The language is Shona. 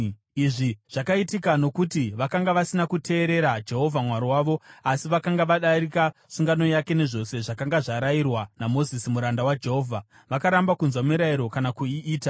Izvi zvakaitika nokuti vakanga vasina kuteerera Jehovha Mwari wavo, asi vakanga vadarika sungano yake nezvose zvakanga zvarayirwa naMozisi muranda waJehovha. Vakaramba kunzwa mirayiro kana kuiita.